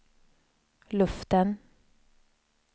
luften